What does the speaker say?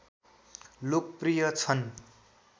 लोकप्रिय छन्